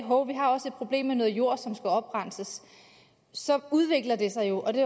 at problem med noget jord som skal oprenses så udvikler det sig jo og det